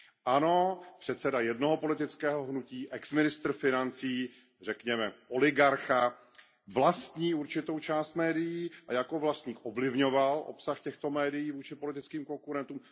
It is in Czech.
Ano, předseda jednoho politického hnutí, bývalý ministr financí, řekněme oligarcha, vlastní určitou část médií a jako vlastník ovlivňoval obsah těchto médií vůči politickým konkurentům.